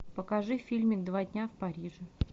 покажи фильмик два дня в париже